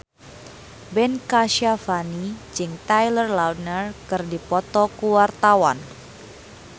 Ben Kasyafani jeung Taylor Lautner keur dipoto ku wartawan